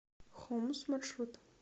хомус маршрут